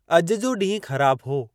अॼु जो ॾींहुं ख़राब हो।